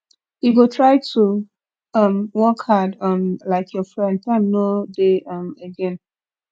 you go try to um work hard um like your friend time no dey um again